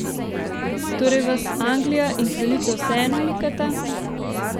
Torej vas Anglija in kraljica vseeno mikata?